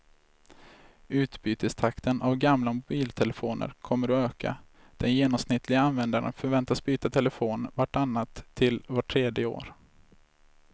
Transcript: Utbytestakten av gamla mobiltelefoner kommer att öka, den genomsnittliga användaren förväntas byta telefon vart annat till vart tredje år.